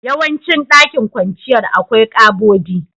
Yawancin dakin kwanciyar, akwai ƙabodi.